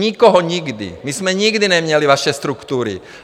Nikoho, nikdy, my jsme nikdy neměli vaše struktury.